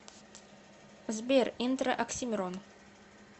сбер интро оксимирон